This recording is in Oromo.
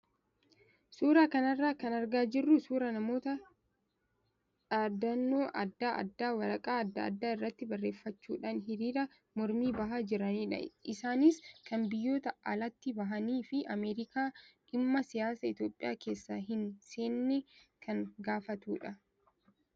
Suuraa kanarraa kan argaa jirru suuraa namoota dhaadannoo adda addaa waraqaa adda addaa irratti barreeffachuudhaan hiriira mormii bahaa jiranidha. Isaanis kan biyyoota alaatti bahanii fi Ameerikaan dhimma siyaasa Itoophiyaa keessa hin seenne kan gaafatudha.